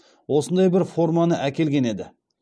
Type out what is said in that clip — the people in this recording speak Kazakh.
осындай бір форманы әкелген еді